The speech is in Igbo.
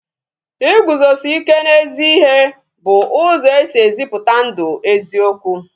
Iguzosi ike n'ezi ihe bụ ụzọ e si ezipụta ndụ eziokwu